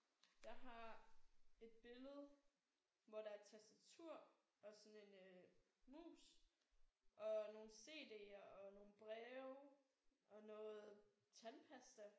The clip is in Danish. Jeg har et billede hvor der er et tastatur og sådan en øh mus og nogle cd'er og nogle breve og noget tandpasta